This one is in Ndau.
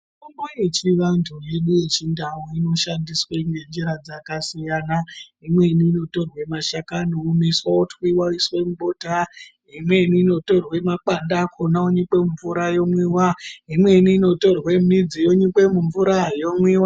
Mitombo yechivantu yedu yechindau inoshandiswe ngenjira dzakasiyana. Imweni inotorwe mashakani oomeswa otwiva oiswe mubota. Imweni inotorwa makwande akona onyikwa mumvura yomwiva, imweni inotorwe midzi yonyikwa mumvura yomwiva.